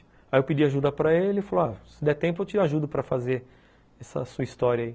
Aí eu pedi ajuda para ele e falei, ah, se der tempo eu te ajudo para fazer essa sua história aí.